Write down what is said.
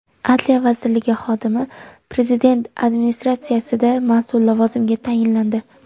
Adliya vazirligi xodimi Prezident administratsiyasida mas’ul lavozimga tayinlandi.